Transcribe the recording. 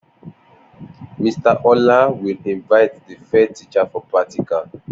Mr Ola will Invite the fair teacher for practical